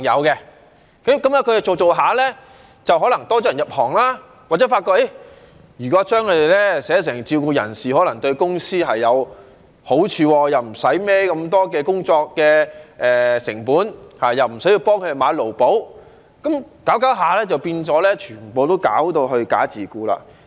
他們做了一段時間，可能多了人入行，或者這些公司發覺如果在合約上將他們寫成自僱人士，可能對公司有好處，不用背負這麼多工作成本，亦不用幫他們買"勞保"，這樣下去就變成他們全部都"假自僱"。